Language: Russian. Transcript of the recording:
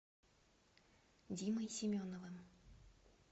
димой семеновым